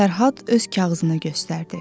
Fərhad öz kağızını göstərdi.